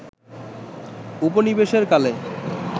উপনিবেশের কালে